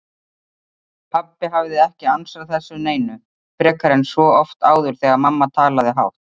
Pabbi hafði ekki ansað þessu neinu, frekar en svo oft áður þegar mamma talaði hátt.